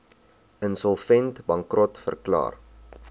insolvent bankrot verklaar